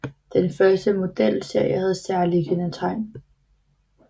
Den første modelserie havde særlige kendetegn